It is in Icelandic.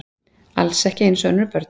Alls ekki eins og önnur börn.